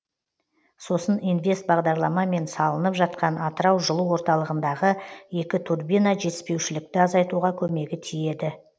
сосын инвест бағдарламамен салынып жатқан атырау жылу орталығындағы екі турбина жетіспеушілікті азайтуға көмегі тиеді